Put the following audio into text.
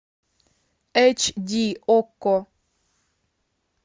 эйч ди окко